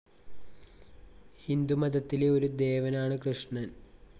ഹിന്ദുമതത്തിലെ ഒരു ദേവനാണ് കൃഷ്ണൻ.